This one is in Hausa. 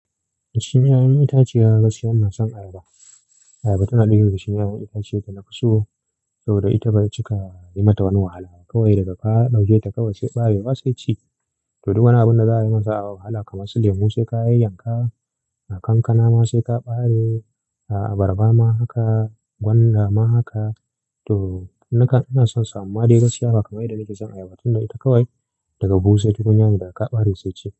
Shin yayan itace ya gaskiya ina son ayaba? Ayaba tana ɗaya daga cikin yayan itace da na fi so saboda ita bai cika yi mata wani wahala ba. Kawai daga ka ɗauke ta kawai sai bare wa sai ci. To duk wani abun da za a yi masa wahala kamar su lemu sai ka yanka, kankana ma sai ka ɓare, abarba ma haka, gwanda ma haka. To nakan ina son samun made gaskiya bakai da nake son ayaba tunda ita kawai daga bushe duk yayan da aka ƙare sai ci.